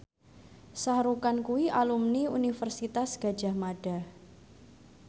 Shah Rukh Khan kuwi alumni Universitas Gadjah Mada